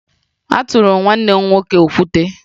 Atụrụ m nwanne m nwoke okwute